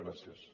gràcies